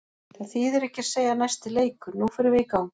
Það þýðir ekki að segja næsti leikur, nú förum við í gang.